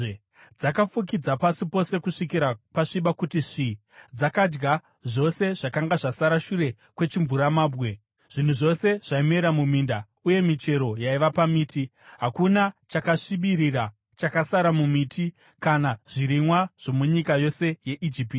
Dzakafukidza pasi pose kusvikira pasviba kuti svi-i. Dzakadya zvose zvakanga zvasara shure kwechimvuramabwe, zvinhu zvose zvaimera muminda uye michero yaiva pamiti. Hakuna chakasvibirira chakasara mumiti kana zvirimwa zvomunyika yose yeIjipiti.